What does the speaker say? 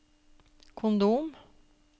kondom